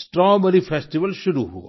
strawberry festival शुरू हुआ